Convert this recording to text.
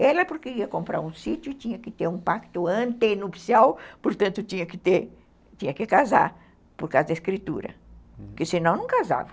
Ela, porque ia comprar um sítio, tinha que ter um pacto antenupcial, portanto, tinha que casar, por causa da escritura, porque senão não casava.